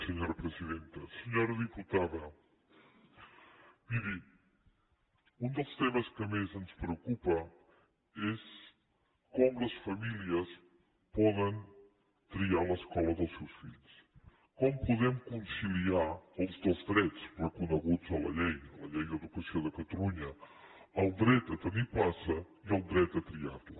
senyora diputada miri un dels temes que més ens preocupa és com les famílies poden triar l’escola dels seus fills com podem conciliar els dos drets reconeguts a la llei a la llei d’educació de catalunya el dret a tenir plaça i el dret a triar la